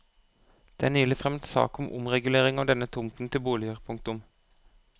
Det er nylig fremmet sak om omregulering av denne tomten til boliger. punktum